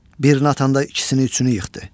Birini atanda ikisini, üçünü yıxdı.